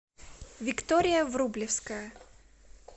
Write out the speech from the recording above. виктория врублевская